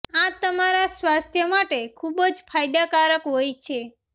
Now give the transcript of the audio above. આ તમારા સ્વાસ્થ્ય માટે ખૂબ જ ફાયદાકારક હોય છે